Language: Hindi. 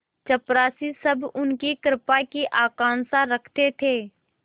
चपरासीसब उनकी कृपा की आकांक्षा रखते थे